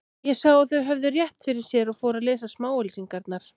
Ég sá að þau höfðu rétt fyrir sér og fór að lesa smáauglýsingarnar.